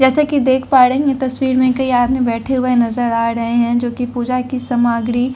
जैसा कि देख पा रहे हैं तस्वीर में कई आदमी बैठे हुए नजर आ रहे हैं जो कि पूजा की सामग्री--